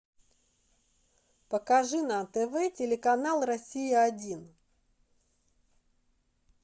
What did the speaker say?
покажи на тв телеканал россия один